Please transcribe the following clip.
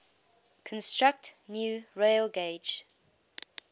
construct new railgauge